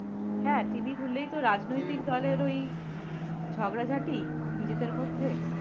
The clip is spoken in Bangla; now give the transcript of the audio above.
হ্যাঁ, TV খুললেই তো রাজনৈতিক দলের ওই ঝগড়া ঝাটি নিজেদের মধ্যে